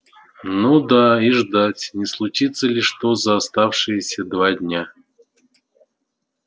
ну да и ждать не случится ли что за оставшиеся два дня